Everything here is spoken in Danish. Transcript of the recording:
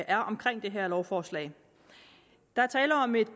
er omkring det her lovforslag der er tale om et